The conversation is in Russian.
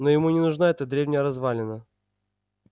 но ему не нужна эта древняя развалина